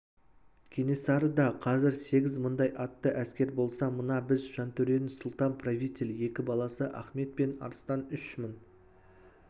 кенесарыда қазір сегіз мыңдай атты әскер болса мына біз жантөренің сұлтан-правитель екі баласы ахмет пен арыстан үш мың